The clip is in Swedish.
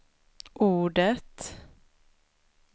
ordet